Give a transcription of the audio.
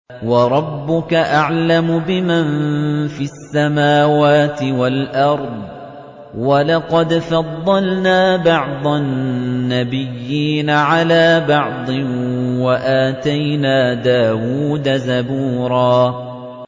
وَرَبُّكَ أَعْلَمُ بِمَن فِي السَّمَاوَاتِ وَالْأَرْضِ ۗ وَلَقَدْ فَضَّلْنَا بَعْضَ النَّبِيِّينَ عَلَىٰ بَعْضٍ ۖ وَآتَيْنَا دَاوُودَ زَبُورًا